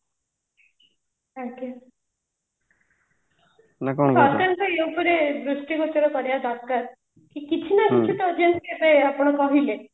ଆଜ୍ଞା ସରକାର ସେଇ ଉପରେ ଦ୍ରୁଷ୍ଟିଗୋଚର କରିବା ଦରକାର ଯେ କିଛି ନା କିଛି ଚାଲିଛି ଏବେ ଯେମିତି ଆପଣ କହିଲେ